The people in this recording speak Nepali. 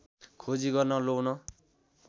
खोजी गर्न लौ न